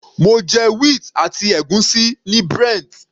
Mo jẹ wheat àti ègúsí ní Brent.